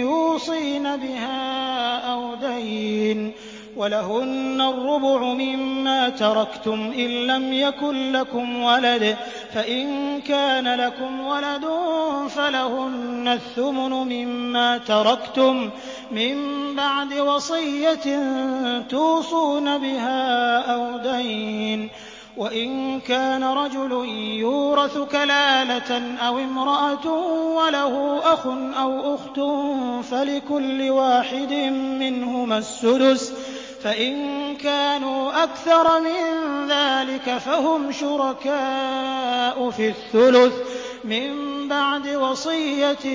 يُوصِينَ بِهَا أَوْ دَيْنٍ ۚ وَلَهُنَّ الرُّبُعُ مِمَّا تَرَكْتُمْ إِن لَّمْ يَكُن لَّكُمْ وَلَدٌ ۚ فَإِن كَانَ لَكُمْ وَلَدٌ فَلَهُنَّ الثُّمُنُ مِمَّا تَرَكْتُم ۚ مِّن بَعْدِ وَصِيَّةٍ تُوصُونَ بِهَا أَوْ دَيْنٍ ۗ وَإِن كَانَ رَجُلٌ يُورَثُ كَلَالَةً أَوِ امْرَأَةٌ وَلَهُ أَخٌ أَوْ أُخْتٌ فَلِكُلِّ وَاحِدٍ مِّنْهُمَا السُّدُسُ ۚ فَإِن كَانُوا أَكْثَرَ مِن ذَٰلِكَ فَهُمْ شُرَكَاءُ فِي الثُّلُثِ ۚ مِن بَعْدِ وَصِيَّةٍ